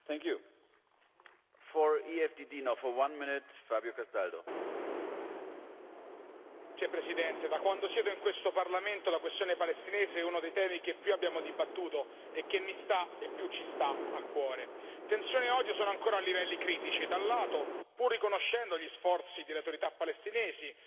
Signor Presidente, onorevoli colleghi, da quando siede in questo Parlamento la questione palestinese è uno dei temi che più abbiamo dibattuto e che mi sta e più ci sta a cuore. Tensione e odio sono ancora a livelli critici da un lato, pur riconoscendo gli sforzi delle autorità palestinesi,